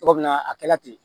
Togo min na a kɛla ten